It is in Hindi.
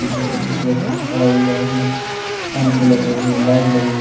जिसमें एक व्यक्ति खड़ा हुआ है उसमें कुछ पंख लगे हुए है लाइट लगे हुए है।